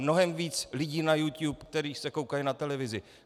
Mnohem více lidí na Youtube, kteří se koukají na televizi.